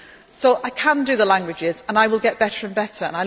vergessen. So I can do the languages, and I will get better and